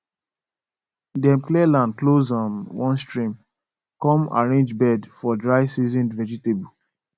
dem clear land close um one stream come arrange bed for dry season vegetable